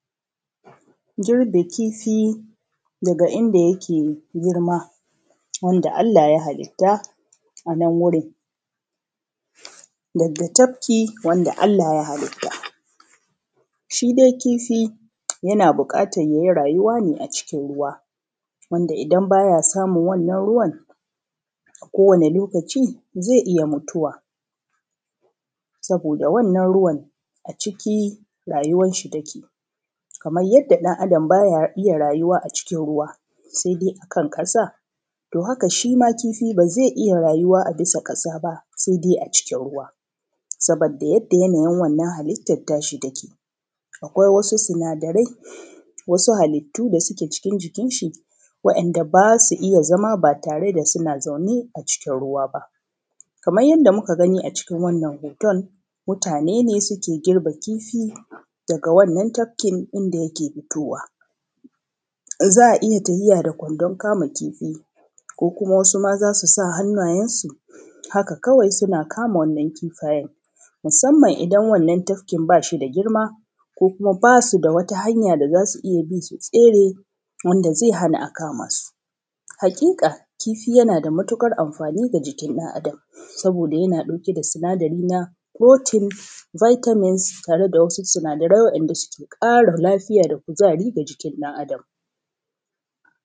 girbe kifi daga inda yake girma, wanda allah ya halitta a nan wurin daga tafkii wanda allah ya halitta. shi dai kifi yana buƙatar ya yi rayuwa ne a ruwa wanda idan ba ya samun wannan ruwan a kowane lokaci zai iya mutuwa saboda wannan ruwan a cikiii rayuwarshi ta ke. Kamar yadda ɗan adam ba ya iya rayuwa a cikin ruwa sai kan ƙasa, to haka shi ma kiifi ba zai iya rayuwa a bisa ƙasa ba sai dai a cikin ruwa. Saboda yadda yanayin wannan halittar ta shi ta ke. Akwai wasu sinadarai, wasu halittu da su ke cikin jikinshi, waɗanda ba su iya zama ba tare da suna zaune a cikin ruwa ba. Kamar yanda muka gani a cikin wannan hoton, mutani ne suke girbe wannan kifi daga wannan tafki inda yake fitowa. In za a iya tafiya da kwandon kama kifi ko kuma wasu maza su sa hannayensu haka kawai suna kama wannan kifayen musamman idan wannan tafkin ba shi da girma, ko kuma ba su da wata hanya da za su iya bi su tsere wanda zai hana a kama su. Hakika, kifi yana da matuƙar anfani ga jikin ɗan adam saboda yana ɗauke da sinadari na proteins, vitamins, tare da wasu sinadarai waɗanda suke ƙara lafiyaa da kuzari ga jikin ɗan adam